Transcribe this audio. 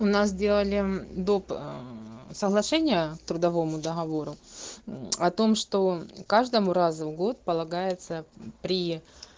у нас делали доп соглашения к трудовому договору о том что каждому раза в год полагается при